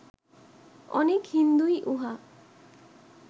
অনেক হিন্দুই উহা